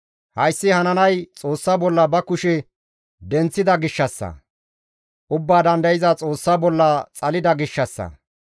Hayssi hananay Xoossa bolla ba kushe denththida gishshassa; Ubbaa Dandayza Xoossa bolla xalida gishshassa.